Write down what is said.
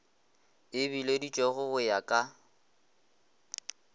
e bileditšwego go ya ka